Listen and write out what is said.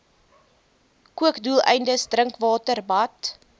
kookdoeleindes drinkwater bad